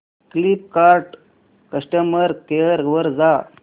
Flipkart customer care वर जा